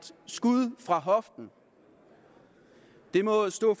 skud fra hoften det må stå